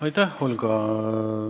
Aitäh, Olga!